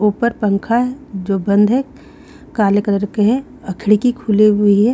ऊपर पंखा है जो बंद है काले कलर के हैं खिड़की खुली हुए है।